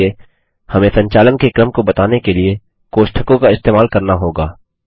इसलिए हमें संचालन के क्रम को बताने के लिए कोष्ठकों का इस्तेमाल करना होगा